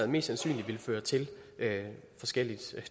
mest sandsynligt vil føre til forskelligt